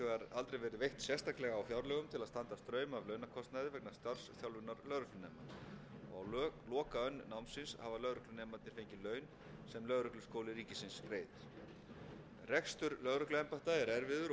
verið veitt sérstaklega á fjárlögum til að standa straum af launakostnaði vegna starfsþjálfunar lögreglunema á lokaönn námsins hafa lögreglunemarnir fengið laun sem lögregluskóli ríkisins greiðir rekstur lögregluembætta er erfiður og fyrrgreint